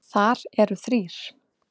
Þar eru þrír